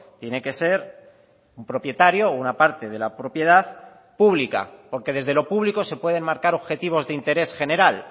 tiene que ser un propietario o una parte de la propiedad pública porque desde lo público se pueden marcar objetivos de interés general